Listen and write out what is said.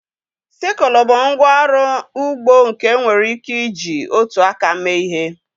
Sikụlụ bụ ngwa ọrụ ugbo nke enwere ike iji otu aka mee ihe.